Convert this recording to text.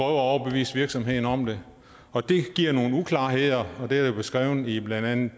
at overbevise virksomheden om det og det giver nogle uklarheder det er beskrevet i blandt andet